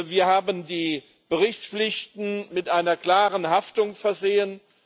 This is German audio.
Wir haben die Berichtspflichten mit einer klaren Haftung versehen.